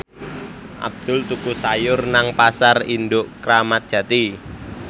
Abdul tuku sayur nang Pasar Induk Kramat Jati